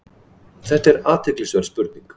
Þetta er athyglisverð spurning.